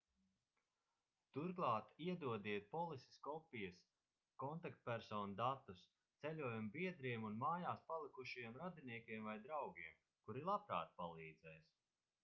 turklāt iedodiet polises kopijas/kontaktpersonu datus ceļojuma biedriem un mājās palikušajiem radiniekiem vai draugiem kuri labprāt palīdzēs